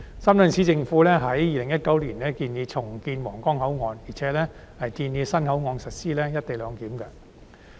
深圳市政府在2019年建議重建皇崗口岸，並且建議在新口岸實施"一地兩檢"。